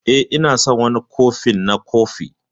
Eh, Ina son wani kofin na kofi.